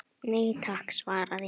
Nei takk var svarið.